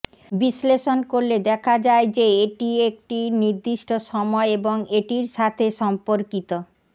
বিশ্লেষণ করলে দেখা যায় যে এটি একটি নির্দিষ্ট সময় এবং এটির সাথে সম্পর্কিত